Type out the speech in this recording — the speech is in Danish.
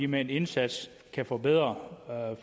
med en indsats kan forbedre